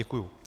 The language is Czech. Děkuji.